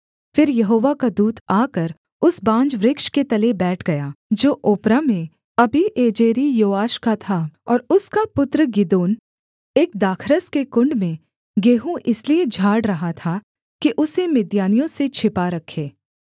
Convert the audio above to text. फिर यहोवा का दूत आकर उस बांज वृक्ष के तले बैठ गया जो ओप्रा में अबीएजेरी योआश का था और उसका पुत्र गिदोन एक दाखरस के कुण्ड में गेहूँ इसलिए झाड़ रहा था कि उसे मिद्यानियों से छिपा रखे